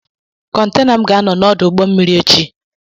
Kọntena m ga-anọ n'ọdụ ụgbọ mmiri echi.